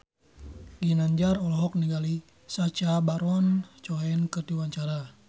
Ginanjar olohok ningali Sacha Baron Cohen keur diwawancara